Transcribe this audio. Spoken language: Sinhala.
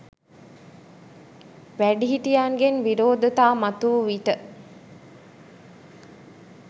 වැඩිහිටියන්ගෙන් විරෝධතා මතුවූ විට,